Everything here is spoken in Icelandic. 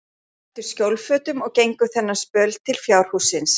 Þau klæddust skjólfötum og gengu þennan spöl til fjárhússins.